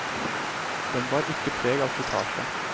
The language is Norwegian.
Den bar ikke preg av slitasje.